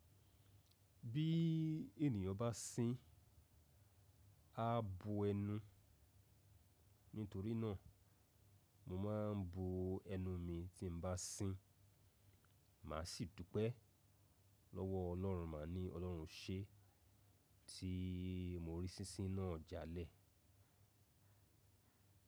Bí ènìyàn bá sín, á bo ẹnu. Nítorí náà mo máa ń bo ẹnu mi tí n bá sín. Màá sì dúpẹ́ lọ́wọ́ Ọlọ́run, màá ní Ọlọ́run ṣe tí mo rí sísín náà jalè.